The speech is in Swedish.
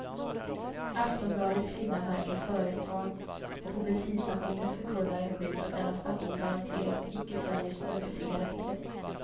Aftonbladet kvinna märker företag och på bensinstationen förkunnar en skylt att denna station garanterat icke säljer smuggelcigaretter.